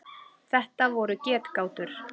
Þetta voru getgátur.